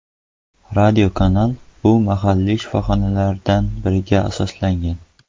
Radiokanal bunda mahalliy shifoxonalardan biriga asoslangan.